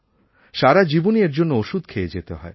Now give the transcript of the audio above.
সারাজীবনই এর জন্য ওষুধ খেয়ে যেতে হয়